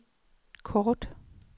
kort